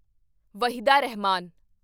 Waheeda Rahman